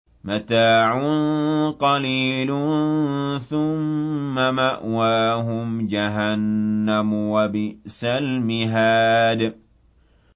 مَتَاعٌ قَلِيلٌ ثُمَّ مَأْوَاهُمْ جَهَنَّمُ ۚ وَبِئْسَ الْمِهَادُ